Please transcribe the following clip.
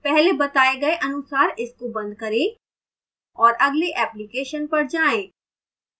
पहले बताए गए अनुसार इसको बंद करें और अगले application पर जाएं